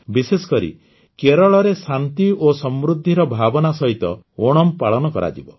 ବିଶେଷକରି କେରଳରେ ଶାନ୍ତି ଓ ସମୃଦ୍ଧିର ଭାବନା ସହିତ ଓଣମ୍ ପାଳନ କରାଯିବ